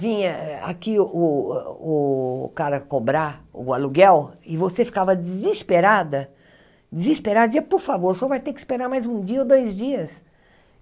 vinha a aqui o o o cara cobrar o aluguel, e você ficava desesperada, desesperada, dizia, por favor, o senhor vai ter que esperar mais um dia ou dois dias.